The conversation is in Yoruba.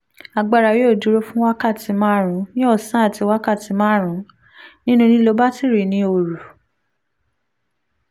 agbára yóò dúró fún wákàtí márùn-ún ní ọ̀sán àti wákàtí márùn-ún nínú lílo batiri ní òru